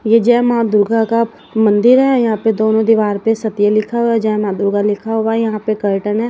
ये जय मां दुर्गा का मंदिर है। यहां पे दोनों दीवार पे सत्य लिखा हुआ जय मां दुर्गा लिखा हुआ यहां पे कर्टन है।